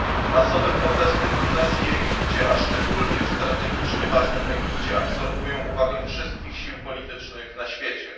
Masowe protesty w Tunezji i w Egipcie, a szczególnie w strategicznie ważnym Egipcie, absorbują uwagę wszystkich sił politycznych na świecie.